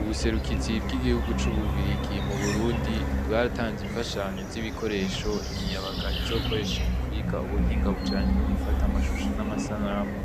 Ubuserukizi bw'igihugu c'ububirigi mu burundi bwaratanze imfashanyo z'ibikoresho imiyabaga izokoresha mu kwiga ubuhinga bujanye no gufata amashusho n'amasanamu,